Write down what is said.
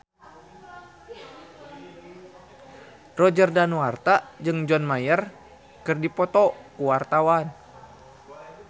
Roger Danuarta jeung John Mayer keur dipoto ku wartawan